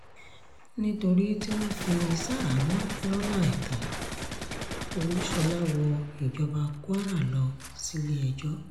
nítorí tí wọ́n fi í ṣaháàmọ̀ lọ́nà àìtó olúṣhólà wọ ìjọba kwara lọ sílé-ẹjọ́